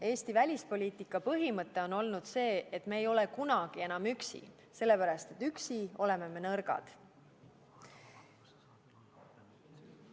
Eesti välispoliitika põhimõte on olnud see, et me ei ole kunagi enam üksi, sellepärast et üksi oleme me nõrgad.